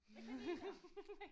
Med kaniner